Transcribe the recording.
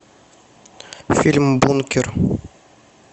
фильм бункер